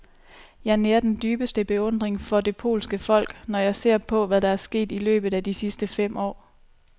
Jeg nærer den dybeste beundring for det polske folk, når jeg ser på, hvad der er sket i løbet af de sidste fem år.